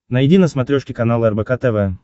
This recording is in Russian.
найди на смотрешке канал рбк тв